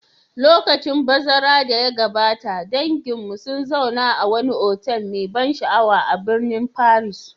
Lokacin bazara da ya gabata, danginmu sun zauna a wani otal mai ban sha'awa a birnin Paris.